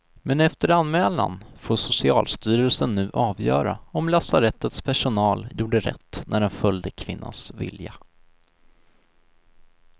Men efter anmälan får socialstyrelsen nu avgöra om lasarettets personal gjorde rätt när den följde kvinnans vilja.